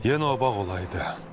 Yenə o bağ olaydı.